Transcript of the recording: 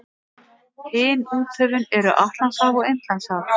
Hin úthöfin eru Atlantshaf og Indlandshaf.